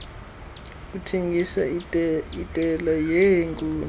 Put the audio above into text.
kuthengisa itela yeenkuku